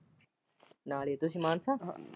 ਨਾਲ ਹੀ ਤੁਸੀਂ ਮਾਨਸਾ।